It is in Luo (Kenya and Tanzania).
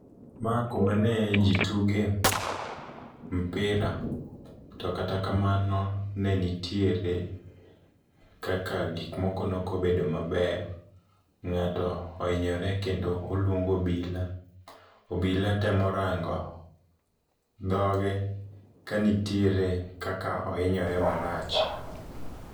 Ma kuma ne ji tuge mpira, to kata kamano ne nitiere kaka gik moko nokobedo maber. Ng'ato ohinyore kendo oluong obila, obila temo rango dhoge ka nitiere kaka ohinyore marach.